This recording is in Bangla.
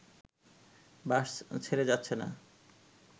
বাস ছেড়ে যাচ্ছে না